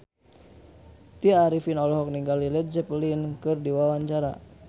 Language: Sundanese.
Tya Arifin olohok ningali Led Zeppelin keur diwawancara